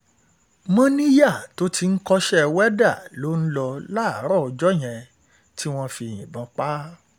Mọ́níyà tó ti ń kọ́ṣẹ́ wẹ́dà ló ń lò láàárọ̀ ọjọ́ yẹn tí wọ́n fi yìnbọn pa á.